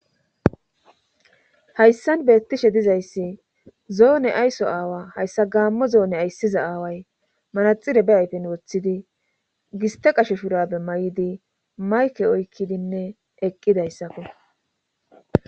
hayssan beettishe dizayssi zoone ayso aawa hayssa gaammo zoone ayssiza aaway manaxire be ayfen woththidi giste qasheshuurabe may7idi mayke oykkidinne eqqidayssakko